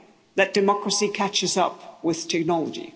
that democracy catches up with technology.